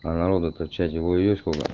а народа то в чате ой-ой-ой сколько